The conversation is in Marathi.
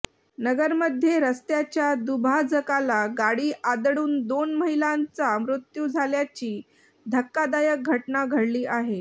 नगरमध्ये रस्त्याच्या दुभाजकाला गाडी आदळून दोन महिलांचा मृत्यू झाल्याची धक्कादायक घटना घडली आहे